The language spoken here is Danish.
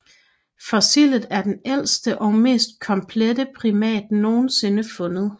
Fossilet er den ældste og mest komplette primat nogensinde fundet